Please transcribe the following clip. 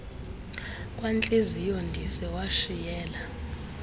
kwantliziyo ndise washiyela